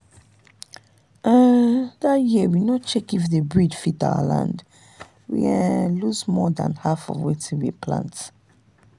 um that year we no check if the breed fit our land we um lose more than half of wetin we plant.